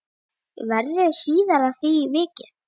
Verður síðar að því vikið.